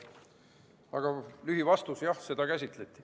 Aga lühivastus on, et jah, seda käsitleti.